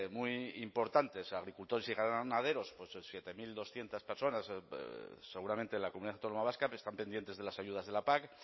muy importantes agricultores y ganaderos siete mil doscientos personas seguramente en la comunidad autónoma vasca pero están pendientes de las ayudas de la pac